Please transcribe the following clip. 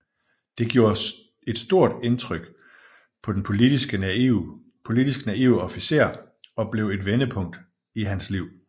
Det gjorde et stort indtryk på den politisk naive officer og blev et vendepunkt i hans liv